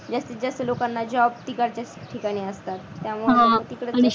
जास्तीत जास्त लोकांना job regard test त्या ठिकाणी असतात आह त्यामुळे तिकडं